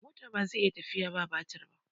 mota bazai iya tafiya ba batire ba